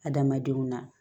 Adamadenw na